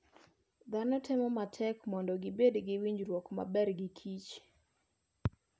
Dhano temo matek mondo gibed gi winjruok maber gi kich.